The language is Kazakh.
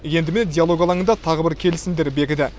енді міне диалог алаңында тағы бір келісімдер бекіді